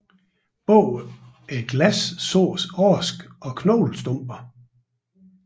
Bag glasset sås aske og knoglestumper